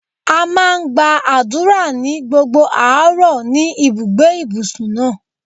A máa ń gba àdúrà ní gbogbo àárọ̀ ni ibùgbé ìbùsùn náà.